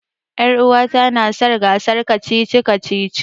Ƴaruwata na son gasar kacici-kacici.